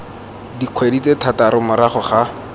dikgwedi tse thataro morago ga